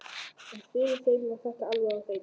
En fyrir þeim var þetta alveg á hreinu.